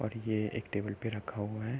और यह एक टेबल पर रखा हुआ है।